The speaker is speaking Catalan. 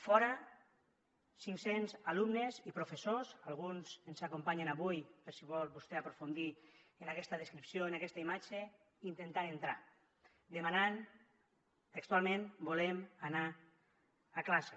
fora cinc cents alumnes i professors alguns ens acompanyen avui per si vol vostè aprofundir en aquesta descripció en aquesta imatge intentant entrar demanant textualment volem anar a classe